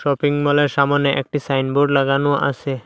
শপিংমলের সামোনে একটি সাইনবোর্ড লাগানো আসে।